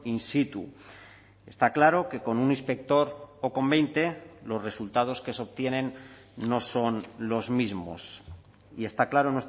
in situ está claro que con un inspector o con veinte los resultados que se obtienen no son los mismos y está claro